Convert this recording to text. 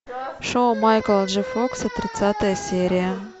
шоу майкла джей фокса тридцатая серия